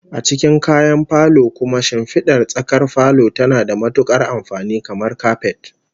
A cikin kayan falo kuma, shimfidar tsakar falon tana da matukar amfani, kamar kapet